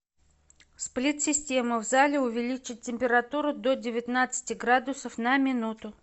сплит система в зале увеличить температуру до девятнадцати градусов на минуту